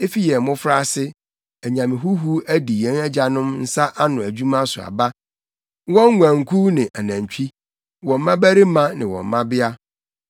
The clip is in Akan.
Efi yɛn mmofraase, anyame huhuw adi yɛn agyanom nsa ano adwuma so aba, wɔn nguankuw ne anantwi, wɔn mmabarima ne wɔn mmabea.